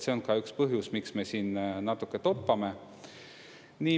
See on ka üks põhjus, miks me siin natuke toppame.